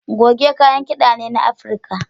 Goge kayan kida ne na Afirka.